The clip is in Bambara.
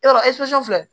Yɔrɔ filɛ